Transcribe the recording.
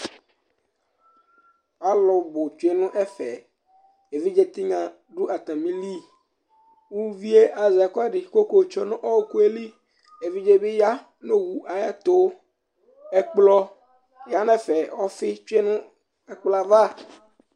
Alu tsʋe ŋu ɛfɛ Evidze tinya ɖu atamìli Uvíe azɛ ɛkʋɛɖi kʋ akayɔ tsʋe ŋu ɔkʋeli Evidze bi yaŋu owu ayɛtʋ Ɛkplɔ yaŋu ɛfɛ Ɔfi tsʋe ŋu ɛkplɔɛva